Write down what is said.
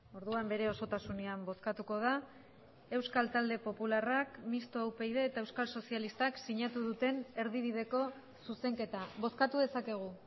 orduan bere osotasunean bozkatuko da euskal talde popularrak mistoa upyd eta euskal sozialistak sinatu duten erdibideko zuzenketa bozkatu dezakegu